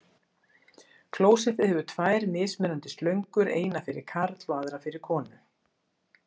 Klósettið hefur tvær mismunandi slöngur, eina fyrir karl og aðra fyrir konu.